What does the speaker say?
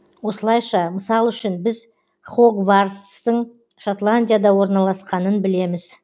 осылайша мысал үшін біз хогвартстың шотландияда орналасқанын білеміз